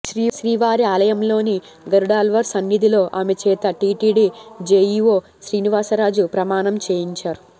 శ్రీవారి ఆలయంలోని గరుడాళ్వార్ సన్నిధిలో ఆమె చేత టిటిడి జెఇఒ శ్రీనివాసరాజు ప్రమాణం చేయించారు